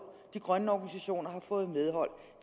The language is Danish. de grønne organisationer har fået medhold